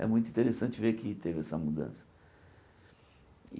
É muito interessante ver que teve essa mudança.